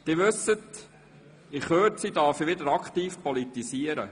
Sie wissen, in Kürze darf ich wieder aktiv politisieren.